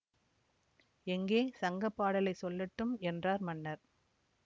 எங்கே சங்க பாடலைச் சொல்லட்டும் என்றார் மன்னர்